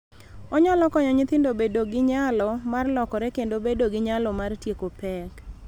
Onyalo konyo nyithindo bedo gi nyalo mar lokore kendo bedo gi nyalo mar tieko pek,